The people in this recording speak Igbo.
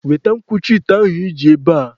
Weta nkwuchi ite ahụ iji ebe a!